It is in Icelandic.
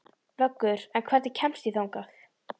Vöggur, hvernig kemst ég þangað?